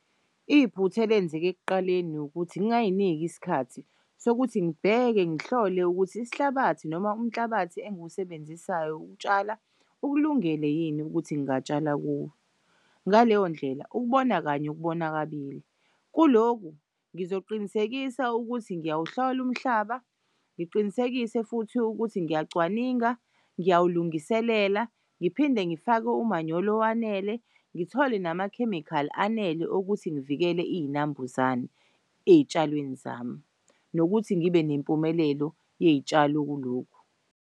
Iphutha elenzeke ekuqaleni ukuthi ngayinik'isikhathi sokuthi ngibheke ngihlole ukuthi isihlabathi noma umhlabathi engiwusebenzisayo ukutshala ukulungele yini ukuthi ngingatshala kuwo, ngaleyo ndlela ukubona kanye ukubona kabili. Kuloku ngizoqinisekisa ukuthi ngiyawuhlol'umhlaba ngiqinisekise futhi ukuthi ngiyacwaninga, ngiyaw ulungiselela ngiphinde ngifak'umanyolo owanele ngithole namakhemikhali anele ukuthi ngivikele iy'nambuzane ey'tshalweni zami nokuthi ngibe nempumelelo yey'tshalo kulokhu.